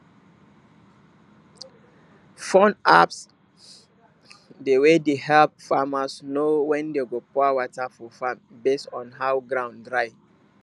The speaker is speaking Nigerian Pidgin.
phone apps dey wey de help farmers know when dem go pour water for farm base on how ground dry